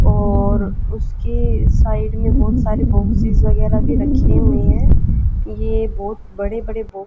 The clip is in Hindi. और उसके साइड में बहुत सारे बॉक्सेस वगैरह भी रखे हुए हैं कि ये बहुत बड़े बड़े बहुत --